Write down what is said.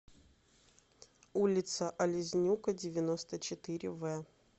улица олезнюка девяносто четыре в